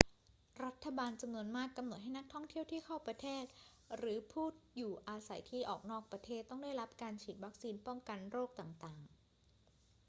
รัฐบาลจำนวนมากกำหนดให้นักท่องเที่ยวที่เข้าประเทศ หรือผู้อยู่อาศัยที่ออกนอกประเทศ ต้องได้รับการฉีดวัคซีนป้องกันโรคต่าง ๆ